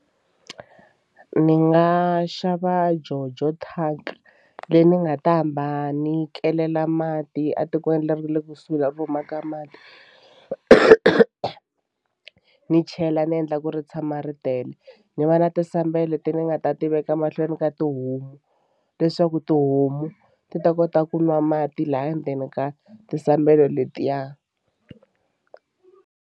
Ni nga xava jojo tank leyi ni nga ta hamba ni kelela mati a tikweni ra le kusuhi la va humaka mati ni chela ni endla ku ri tshama ri tele. Ni va na tisambelo leti ni nga ta tiveka mahlweni ka tihomu leswaku tihomu ti ta kota ku nwa mati laya ndzeni ka tisambelo letiya.